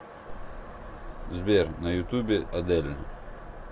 сбер на ютубе адель